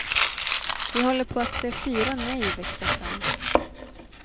Vi håller på att se fyra nej växa fram.